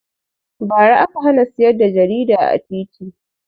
Ba ra aka hana siyar da jarida a titi